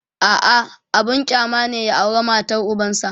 a'a abun kyama ne ya aura matar ubansa